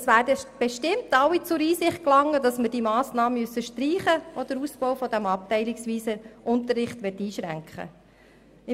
Es werden bestimmt alle zur Einsicht gelangen, dass wir die Massnahme streichen müssen, die den Ausbau des abteilungsweisen Unterrichts einschränken würde.